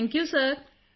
thank you ਸਿਰ